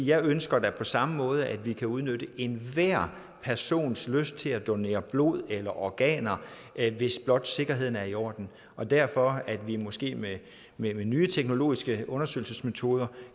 jeg ønsker da på samme måde at vi kan udnytte enhver persons lyst til at donere blod eller organer hvis blot sikkerheden er i orden derfor kan vi måske med med nye teknologiske undersøgelsesmetoder